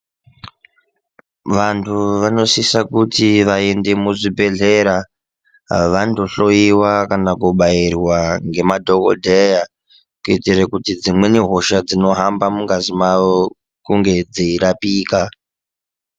Vantu vanosisa kuti vaende muzvibhedhlera vandohloiwa kana kubairwa nemadhokodheya kuitira kuti dzimweni hosha dzinohamba mungazi mawo kunge dzeirapika.